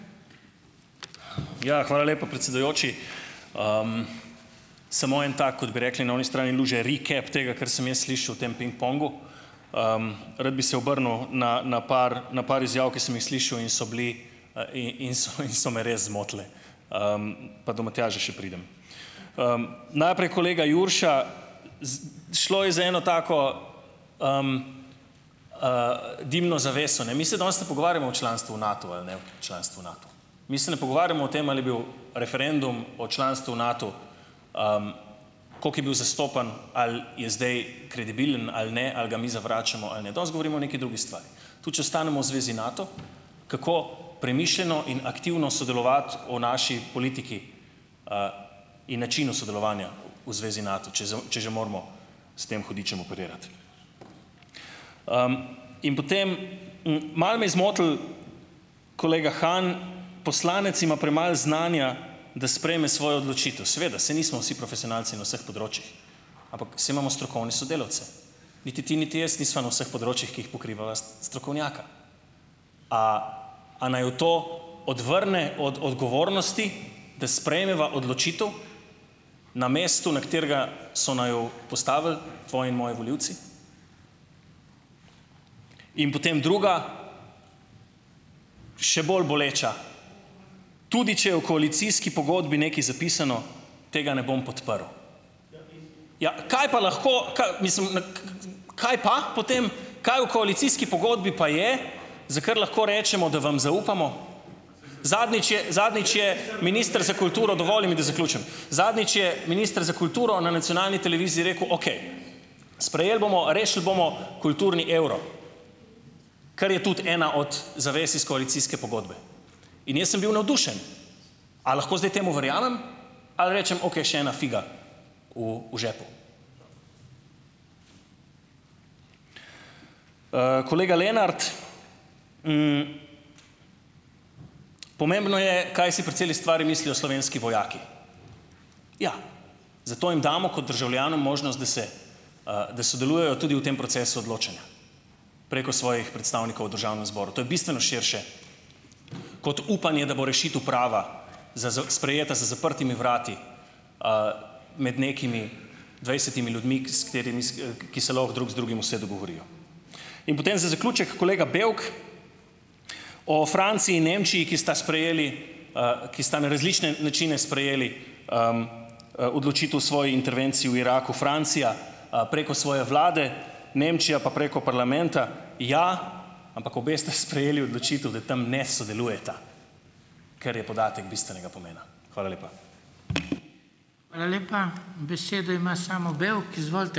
Ja, hvala lepa, predsedujoči. Samo en tak, kot bi rekli, na oni strani luže, "recap" tega, kar sem jaz slišal v tem pingpongu. Rad bi se obrnil na na par na par izjav, ki sem jih slišal, in so bile, in so in so me res zmotile, pa do Matjaža še pridem. Najprej kolega Jurša, šlo je za eno tako, dimno zaveso, ne. Mi se danes ne pogovarjamo o članstvu v Natu ali ne članstvo v Nato. Mi se ne pogovarjamo o tem, ali je bil referendum o članstvu v Natu, koliko je bil zastopan, ali je zdaj kredibilen ali ne ali ga mi zavračamo ali ne. Danes govorimo o neki drugi stvari. Tudi če ostanemo v zvezi Nato, kako premišljeno in aktivno sodelovati o naši politiki, in načinu sodelovanja v zvezi Nato, če če že moramo s tem hudičem operirati. In potem, malo me je zmotil kolega Han, poslanec ima premalo znanja, da sprejme svojo odločitev. Seveda, saj nismo vsi profesionalci na vseh področjih. Ampak saj imamo strokovne sodelavce. Niti ti niti jaz nisva na vseh področjih, ki jih pokrivava, strokovnjaka. A a naju to odvrne od odgovornosti, da sprejmeva odločitev na mestu, na katerega so naju postavili tvoji, moji volivci? In potem druga, še bolj boleča, tudi če je v koalicijski pogodbi nekaj zapisano, tega ne bom podprl. Ja, kaj pa lahko, mislim, na kaj pa potem? Kaj v koalicijski pogodbi pa je, za kar lahko rečemo, da vam zaupamo? Zadnjič je zadnjič je minister za kulturo ... Dovoli mi, da zaključim. Zadnjič je minister za kulturo na nacionalni televiziji rekel: "Okej, sprejeli bomo, rešili bomo kulturni evro, kar je tudi ena od zavez iz koalicijske pogodbe." In jaz sem bil navdušen. A lahko zdaj temu verjamem? Ali rečem, okej, še ena figa v v žepu? Kolega Lenart, pomembno je, kaj si pri celi stvari mislijo slovenski vojaki. Ja, zato jim damo kot državljanom možnost, da se, da sodelujejo tudi v tem procesu odločanja preko svojih predstavnikov v državnem zboru. To je bistveno širše kot upanje, da bo rešitev prava za sprejeta za zaprtimi vrati, med nekimi dvajsetimi ljudmi, s katerimi ki se lahko drug z drugim vse dogovorijo. In potem za zaključek, kolega Bevk, o Franciji in Nemčiji, ki sta sprejeli, ki sta na različne načine sprejeli, odločitev svoje intervencije v Iraku. Francija, preko svoje vlade, Nemčija pa preko parlamenta. Ja, ampak obe sta sprejeli odločitev, da tam ne sodelujeta, kar je podatek bistvenega pomena. Hvala lepa.